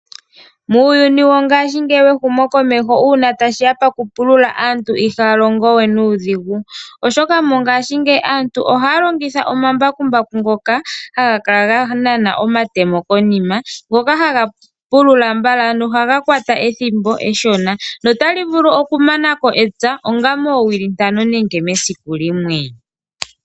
Muuyuni wo ngashingeyi wehumo komeho una tashiya pakupulula aantu ihalongowe nudhingu, oshoka mongashi ngeyi aantu ohalongitha omambakumbaku ngoka hangakala nganana omatemo konima ngoka hangapulula mbala nohangakwata ethimbo eshona notalivulu okumanako epya onga mowiili tano nenge mesiku limwe.